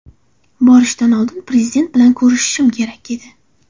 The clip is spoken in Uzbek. Borishdan oldin Prezident bilan ko‘rishishim kerak edi.